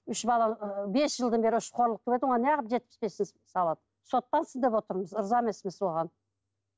үш бала ы бес жылдан бері неғып жетпіс бес мың салады сотталсын деп отырмыз риза емеспіз оған